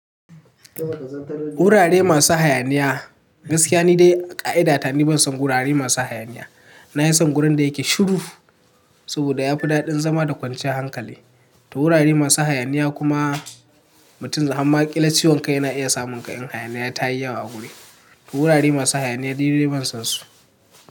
Wurare masu hayaniya, gaskiya ne dai ƙa'ida ta ni ban san wurare masu hayaniya. Na yi san wurin da yake shiru saboda ya fi daɗin zama da kwanciyar hankali. To wurare masu hayaniya kuma mutum hamma ƙila ciwon kai na iya samun ƙa in hayaniya ta yi yawa a wuri. To wurare masu hayaniya ni dai ban san su.